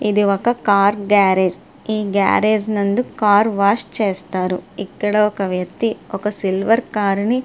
ఇది ఒక car garage ఈ గేరేజ్ నందు కార్ వాష్ చేస్తారు ఇక్కడ ఒక వ్యక్తి ఒక సిల్వర్ కార్ ని--